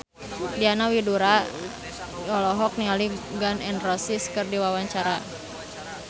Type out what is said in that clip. Diana Widoera olohok ningali Gun N Roses keur diwawancara